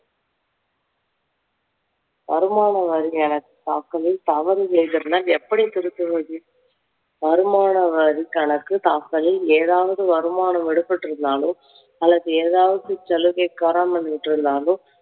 வருமான வரி கணக்கு தாக்கலில் தவறு நேர்ந்திருந்தால் எப்படி திருத்துவது? வருமான வரி கணக்கு தாக்கலில் ஏதாவது வருமானம் விடுபட்டிருந்தாலோ அல்லது ஏதாவது செலவை கோராமல் விட்டிருந்தாலோ